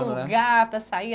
lugar para sair?